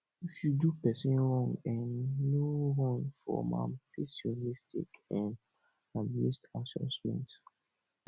if you do person wrong um no run from am face your mistake um and adjustment